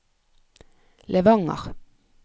Levanger